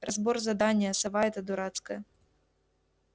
разбор задания сова эта дурацкая